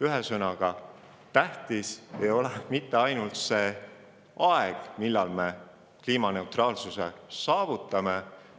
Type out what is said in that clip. Ühesõnaga, tähtis ei ole mitte ainult aeg, millal me kliimaneutraalsuse saavutame,